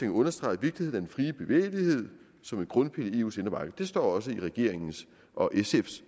understreger vigtigheden frie bevægelighed som en grundpille i eus indre marked det står også i regeringens og sfs